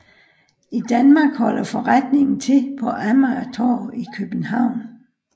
I Danmark holder forretningen til på Amagertorv i København